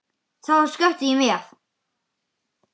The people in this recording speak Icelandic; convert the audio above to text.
Það var slökkt í mér.